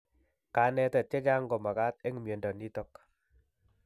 Kanetet chechang' ko mag'at eng' miendo nitok